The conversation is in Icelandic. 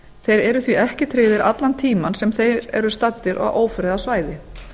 þeir eru því ekki tryggðir allan tímann sem þeir eru staddir á ófriðarsvæðum